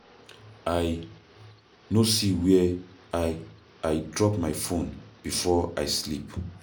I no see where I I drop my phone before I sleep